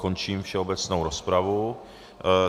Končím všeobecnou rozpravu.